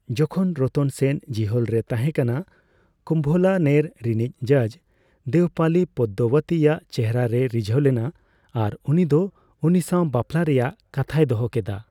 ᱡᱚᱠᱷᱚᱱ ᱨᱚᱛᱚᱱ ᱥᱮᱱ ᱡᱤᱦᱚᱞ ᱨᱮᱭ ᱛᱟᱸᱦᱮ ᱠᱟᱱᱟ, ᱠᱩᱢᱵᱷᱞᱟᱱᱮᱨ ᱨᱤᱱᱤᱡ ᱡᱟᱡᱽ ᱫᱮᱣᱯᱟᱞᱤ ᱯᱟᱫᱫᱟᱣᱚᱛᱤ ᱭᱟᱜ ᱪᱮᱦᱨᱟ ᱨᱮᱭ ᱨᱤᱡᱷᱟᱹᱣ ᱞᱮᱱᱟ ᱟᱨ ᱩᱱᱤᱫᱚ ᱩᱱᱤᱥᱟᱣ ᱵᱟᱯᱞᱟ ᱨᱮᱭᱟᱜ ᱠᱟᱛᱷᱟᱭ ᱫᱚᱦᱚ ᱠᱮᱫᱟ᱾